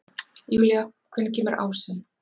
Júlía, hvenær kemur ásinn?